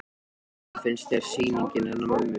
Hödd: Hvernig finnst þér sýningin hennar mömmu?